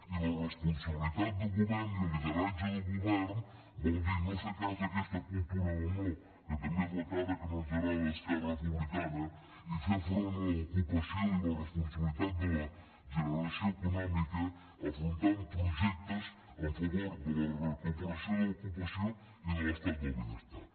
i la responsabilitat del govern i el lideratge del govern vol dir no fer cas d’aquesta cultura del no que també és la cara que no ens agrada d’esquerra republicana i fer front a l’ocupació i la responsabilitat de la generació econòmica afrontant projectes en favor de la recuperació de l’ocupació i de l’estat del benestar